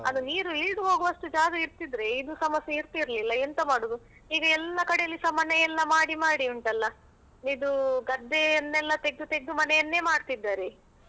ಅದು ನೀರು ಇಳ್ದು ಹೋಗುವಷ್ಟು ಜಾಗ ಇರ್ತಿದ್ರೆ ಇದು ಸಮಸ್ಯೆ ಇರ್ತಿರ್ಲಿಲ್ಲ ಎಂತ ಮಾಡುದು ಈಗ ಎಲ್ಲ ಕಡೆಯಲ್ಲಿಸ ಮನೆಯೆಲ್ಲ ಮಾಡಿ ಮಾಡಿ ಉಂಟಲ್ಲ ಇದು ಗದ್ದೆಯನ್ನೆಲ್ಲ ತೆಗ್ದು ತೆಗ್ದು ಮನೆಯನ್ನೇ ಮಾಡ್ತಿದ್ದಾರೆ.